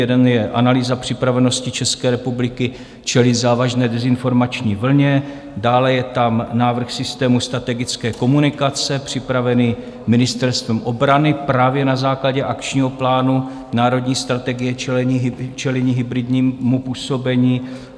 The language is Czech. Jeden je analýza připravenosti České republiky čelit závažné dezinformační vlně, dále je tam návrh systému strategické komunikace, připravený Ministerstvem obrany právě na základě akčního plánu Národní strategie čelení hybridnímu působení.